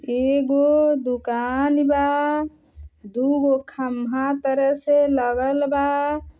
एगो दुकान बा। दुगों खंभा तरे से लगल बा।